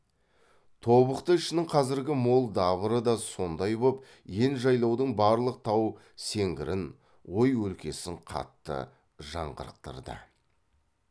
тобықты ішінің қазіргі мол дабыры да сондай боп ен жайлаудың барлық тау сеңгірін ой өлкесін қатты жаңғырықтырды